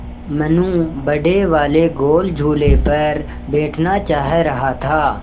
मनु बड़े वाले गोल झूले पर बैठना चाह रहा था